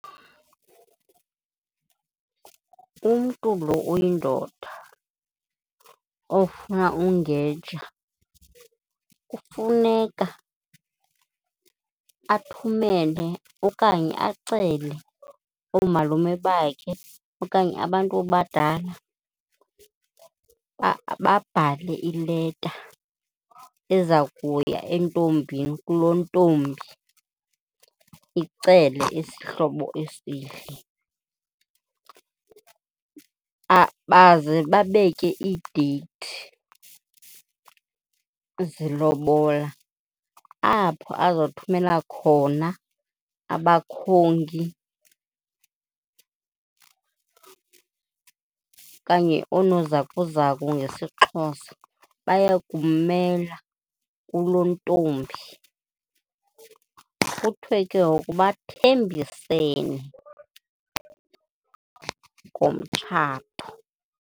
Umntu lo uyindoda ofuna ungeja kufuneka athumele okanye acele oomalume bakhe okanye abantu abadala babhale ileta eza kuya entombini, kulontombi icele isihlobo esihle. Baze babeke iideyithi zelobola apho azothumela khona abakhongi okanye oonozakuzaku ngesiXhosa bayakummela kulontombi, kuthwe ke ngoku bathembisene ngomtshato.